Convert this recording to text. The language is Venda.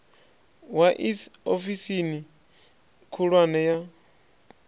wa iss ofisini khulwane ya